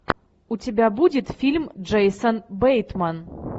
у тебя будет фильм джейсон бейтман